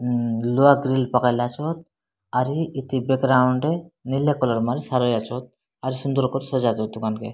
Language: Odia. ଲୁହା ଗ୍ରୀଲ୍ ପକେଇଲେ ଆସିବ ଆଉରି ଇତି ବେକ୍ ରାଉଣ୍ଡ ରେ ନିଲେ କଲର୍ ମାଲ୍ ସାର ହିଁ ଆସିବ ଆଉ ସୁନ୍ଦର୍ କର୍ ସଜାଜିବ ଦୁକାନକେ।